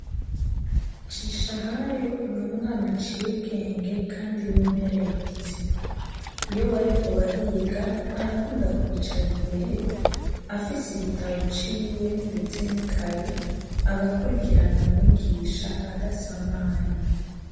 Ncishahayo n'umwana aciye ubwenge kandi w'inkerebutsi iyo bariko bariga arakunda kwicara imbere afise igitabo c'iwe ndetse nikaye agakurikirana mwigisha adasamaye